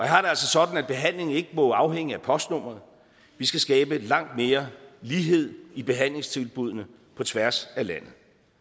har det altså sådan at behandling ikke må afhænge af postnummeret vi skal skabe langt mere lighed i behandlingstilbuddene på tværs af landet